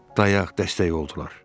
Dayaq, dəstək oldular.